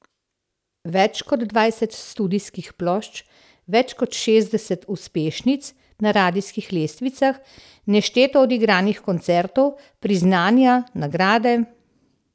Več kot dvajset studijskih plošč, več kot šestdeset uspešnic na radijskih lestvicah, nešteto odigranih koncertov, priznanja, nagrade ...